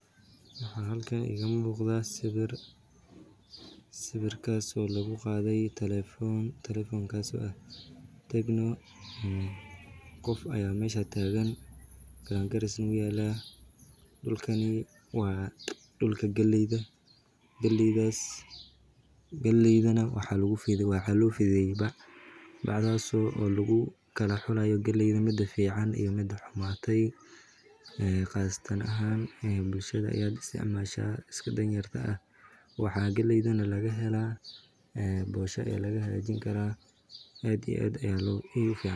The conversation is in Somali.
Waxaa halkan iiga muuqda sawiir oo lagu qaade telefoon tecno qof ayaa meesha taagan garangaris wuu yaala waa dulka galeyda galeey waxaa lagu fidiye bac waa laga miraa boosha ayaa laga hagaajin karaa aad iyo aad ayeey ufican tahay.